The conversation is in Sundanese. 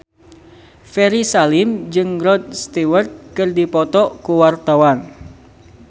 Ferry Salim jeung Rod Stewart keur dipoto ku wartawan